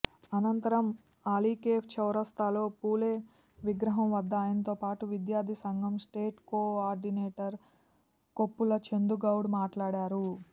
అనంతరం అలీకెఫ్ చౌరస్తాలో ఫూలే విగ్రహంవద్ద ఆయనతోపాటు విద్యార్థి సంఘం state coordinator Koppula Chandugoud మాట్లాడారు